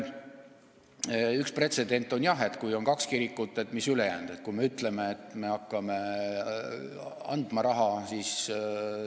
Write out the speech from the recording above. Üks pretsedent on jah, et kui on kaks kirikut, siis mis ülejäänutega saab, kui me ütleme, et me hakkame raha andma.